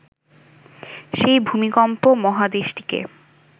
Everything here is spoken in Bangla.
সেই ভূমিকম্প মহাদেশটিকে